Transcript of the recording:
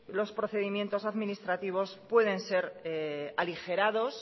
los procedimientos administrativos pueden ser aligerados